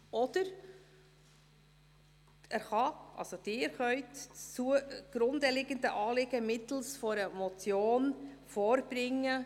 Oder Sie können das zugrunde liegende Anliegen mittels einer Motion vorbringen.